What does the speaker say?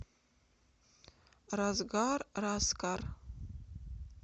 разгар раскар